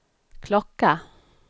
klocka